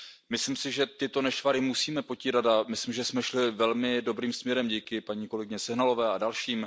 Myslím si, že tyto nešvary musíme potírat, a myslím, že jsme šli velmi dobrým směrem díky paní kolegyni Sehnalové a dalším.